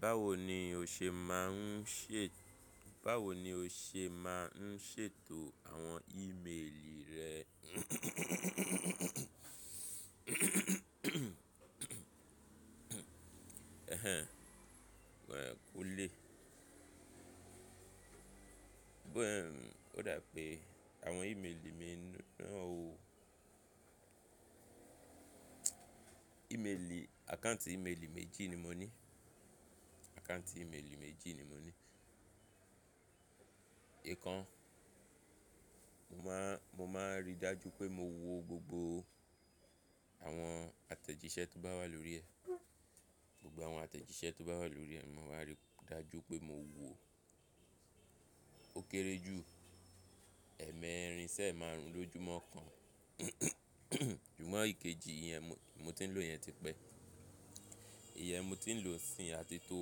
Báwo ni o ṣe máa ń ṣe, báwo ni o ṣe máa ń ṣètò àwọn ímeèlì rẹ wẹ̀ kúńlé. Bó ẹ̀ ó dà pé àwọn ímeèlì mi n--, ó Ímeèlì, àkáǹtì ímeèlì méjì ni mo ní, àkáǹtì ímeèlì méjì ni mo ní. Èèkàn mo máa, mo máa ń rí dájú pé mo wo gbogbo àwọn àtẹ̀jíṣẹ́ tó bá wà lórí ẹ̀, gbogbo àwọn àtẹ̀jíṣẹ́ tó bá wà lórí ẹ̀, màá ríi dájú pé mo wo ó. Ó kéré jù ẹ́ẹ̀mẹrin ṣi ẹemáaruń lójúmọ́ kan, ṣùgbọ́n èkejì ìyẹn mo, mo ti ń lò yẹn ti pẹ́. Ìyẹn mo ti ń lò ó sín áti tó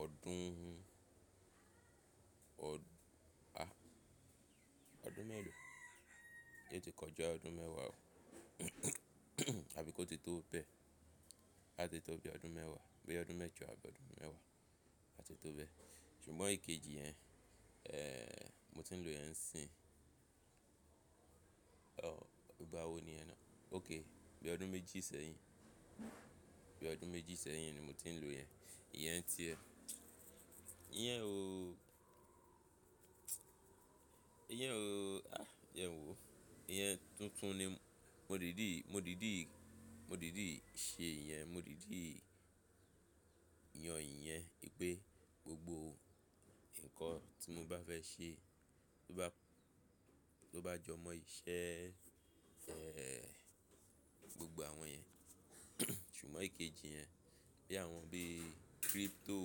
ọdún, ọd, a, ọdún mẹ́ẹ̀lò? É ti kọjá ọdún mẹ́wàá o, àbí kó ti tó bẹ́ẹ̀? A ti tó bí i ọdún mẹ́wàá, boya ọdún mẹ́jọ àbí ọdún mẹ́wàá a ti tó bẹ́ẹ̀. Ṣùgbọ́n èkejì yẹn, mo ti ń lò iyẹn n sí báwo niyẹn náà? Okay, boya ọdún méjì sẹ́yìn, boya ọdún méjì sẹ́yìn ni mo ti ń lò yẹn. Ìyẹn ti ẹ́, ìyẹn ò, ìyẹn ò, a, jẹ n wò. Ìyẹn tuntun ni mo dìdí, mo dìdí, mo dìdí ṣe ìyẹn, mo dìdí yan ìyẹn í pé gbogbo nǹkan tí mo bá fẹ́ ṣe, tó bá, tó bá jọ mọ́ iṣẹ́ e gbogbo àwọn yẹn. Ṣùgbọ́n èkejì yẹn, bí i àwọn bí i cryptò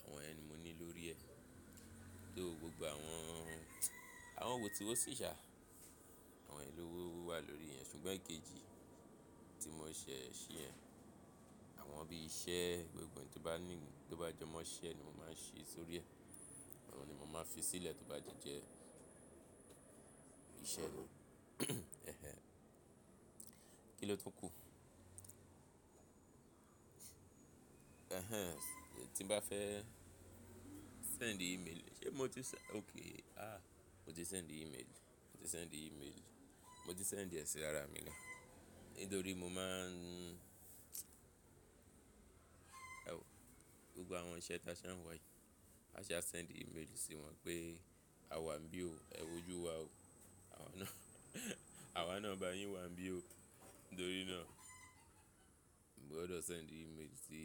àwọn iyen ni mo ní lórí ẹ̀, So gbogbo àwọn, àwọn wọ̀ tí wó sì ṣà, àwọn yen lówowo wà lórí ẹ̀ ṣùgbọ́n èkejì tí mo ṣẹ̀ sí yẹn, àwọn bí i iṣẹ́ gbogbo n ti tó bá ní, tó bá jọ mọ́ iṣẹ́ ni mo máa ń ṣe sórí ẹ̀. Àwọn ni mo máa fi sílẹ̀ tó bá ti jẹ́ iṣẹ́ ni. Kí ló tuń kú? Tí n bá fẹ́ sẹ́ńdì ímeèlì, ṣe mo ti sẹ́-- Okay, a, mo ti sẹ́ńdì ímeèlì, mo ti sẹ́ńdì ímeèlì, mo ti sẹ́ńdì ẹ sí ara mi naá. Ítorí mo máa ń, ẹwo gbogbo àwọn iṣẹ́ tí a ṣá ń wá yí, a ṣá wa sẹ́ńdì ímeèlì sí wọn pé àwa ń bí o, ẹ wojú wa o. Àwa náà, àwa náà bá yín wá ń bí o. Ítorí náà, mo gbọdọ̀ sẹ́ńdì ímeèlì sí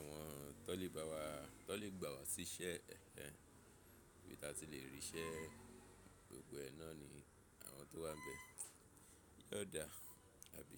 àwọn tọ́le bá wa, tọ́le gbà wá sí iṣẹ́, ibí a ti lè rí iṣẹ́ gbogbo ẹ náà ni àwọn tó wà ń bẹ. Yóò dà, àbí?